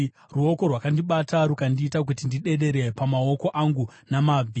Ruoko rwakandibata rukandiita kuti ndidedere pamaoko angu namabvi.